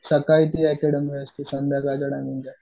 सकाळी ती अकॅडमी संध्याकाळचं